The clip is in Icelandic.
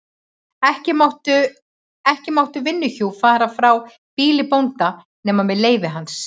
Ekki máttu vinnuhjú fara frá býli bónda nema með leyfi hans.